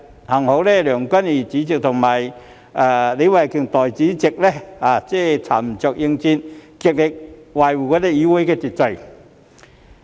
幸好主席梁君彥議員和代理主席李慧琼議員沉着應戰，極力維護議會秩序。